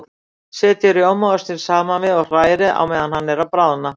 Setjið rjómaostinn saman við og hrærið meðan hann er að bráðna.